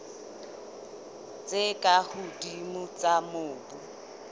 tse ka hodimo tsa mobu